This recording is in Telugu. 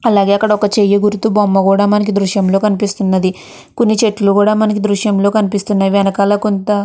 అలాగే ఇక్కడ ఒక చెయ్యి గుర్తు బొమ్మ కూడా దృశ్యంలో కనిపిస్తున్నది. కొన్ని చెట్లు కూడా మనకి దృశ్యంలా కనిపిస్తూ ఉన్నది.వెనకాల కొంత --